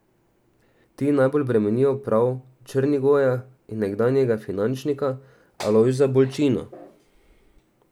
Ti najbolj bremenijo prav Črnigoja in nekdanjega finančnika Alojza Bolčino.